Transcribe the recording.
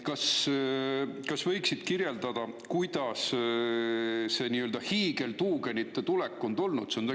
Kas sa võiksid kirjeldada, kuidas see hiigeltuugenite tulek on toimunud?